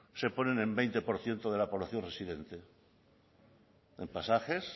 se ponen en veinte por ciento de la población residente en pasajes